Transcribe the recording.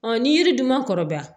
ni yiri dun ma kɔrɔbaya